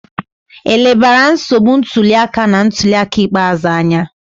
E lebara nsogbu ntuli aka na ntuli aka ikpeazụ anya?